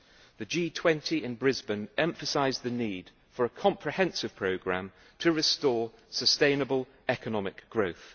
The G20 in Brisbane emphasised the need for a comprehensive programme to restore sustainable economic growth.